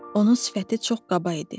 Onun sifəti çox qaba idi.